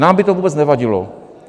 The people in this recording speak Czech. Nám by to vůbec nevadilo.